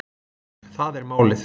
Það er málið